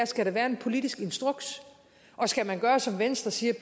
skal være en politisk instruks og skal man gøre som venstre siger